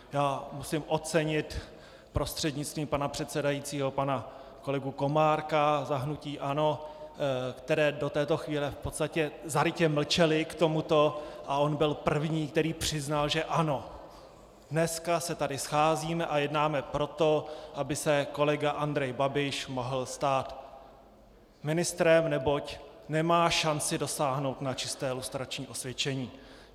Já musím ocenit prostřednictvím pana předsedajícího pana kolegu Komárka za hnutí ANO, které do této chvíle v podstatě zarytě mlčelo k tomuto, a on byl první, který přiznal, že ano, dneska se tady scházíme a jednáme proto, aby se kolega Andrej Babiš mohl stát ministrem, neboť nemá šanci dosáhnout na čisté lustrační osvědčení.